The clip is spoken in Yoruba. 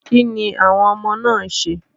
Kíni àwọn ọmọ náà ń ṣe?